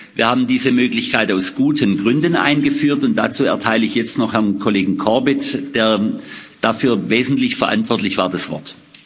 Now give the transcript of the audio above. Wir haben diese Möglichkeit aus guten Gründen eingeführt, und dazu erteile ich jetzt noch Herrn Kollegen Corbett, der dafür wesentlich verantwortlich war, das Wort.